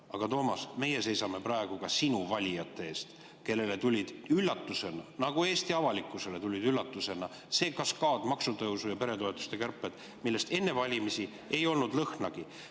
Aga, Toomas, meie seisame praegu ka sinu valijate eest, kellele tuli üllatusena, nagu kogu Eesti avalikkusele tuli üllatusena see kaskaad, maksutõusud ja peretoetuste kärped, millest enne valimisi ei olnud lõhnagi.